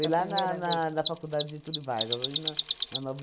Foi lá na na na faculdade Getúlio Vargas, ali na na nove